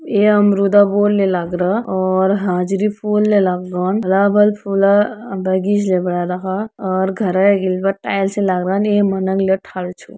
ये अम्रुदा वोल नि लगरा और हाजरी फुल ले लगौन बराबर फुल अ बगिज ले व् और घर एग ल टाइल्स छे लगरनि ले मनन थाल छू।